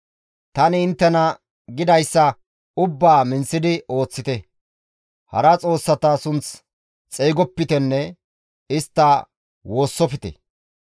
«Tani inttena gidayssa ubbaa minththidi ooththite; hara xoossata sunth xeygopitenne istta woossofte.